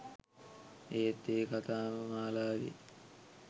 ඒත් ඒ කතා මාලාවේ